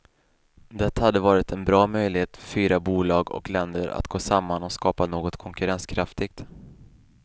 Det hade varit en bra möjlighet för fyra bolag och länder att gå samman och skapa något konkurrenskraftigt.